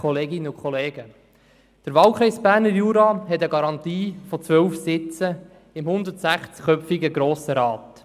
Der Wahlkreis Berner Jura hat eine Garantie für 12 Sitze im 160köpfigen Grossen Rat.